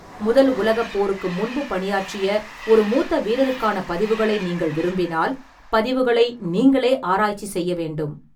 முதல் உலகப் போருக்கு முன்பு பணியாற்றிய ஒரு மூத்த வீரருக்கான பதிவுகளை நீங்கள் விரும்பினால், பதிவுகளை நீங்களே ஆராய்ச்சி செய்ய வேண்டும்.